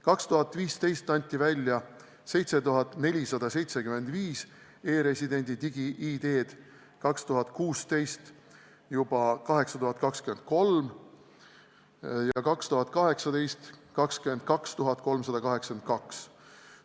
2015. aastal anti välja 7475 e-residendi digi-ID-d, 2016. aastal 8023 ja 2018. aastal juba 22 382.